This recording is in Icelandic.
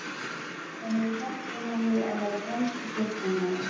Það hefur hjálpað manni að vera fremsti sóknarmaður.